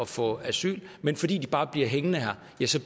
få asyl men fordi de bare bliver hængende her